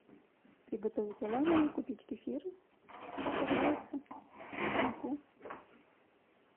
приготовить оладьи купить кефир сахар яйца муку